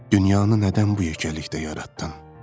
Dünyanı nədən bu yeganəlikdə yaratdın?